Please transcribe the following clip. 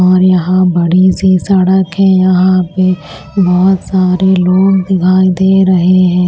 और यहां बड़ी सी सड़क है यहां पे बहुत सारे लोग दिखाई दे रहे हैं।